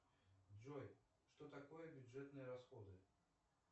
джой что такое бюджетные расходы